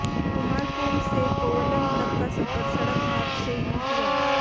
कुमारकोम से कोवलम तक का सफर सड़क मार्ग से ही हुआ